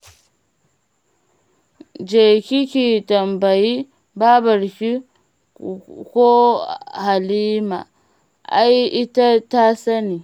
Je ki ki tambayi babarki ko Halima, ai ita ta sani.